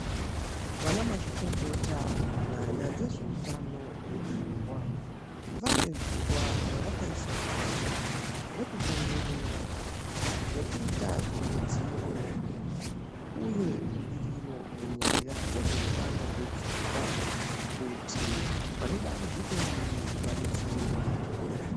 Vana mazvikokota munyaya dzezvehutano wepfungwa vane zuwa ravakaisa pashi rekupemberera nekuita kuridziro uye budiriro panyaya dzezvehutano wepfungwa kuti vane dambudziko iri vadetsereke.